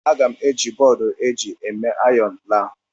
M ga-eji bọọdụ eji eme ayọn laa.